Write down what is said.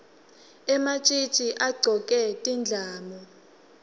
ematjitji agcoke tindlamu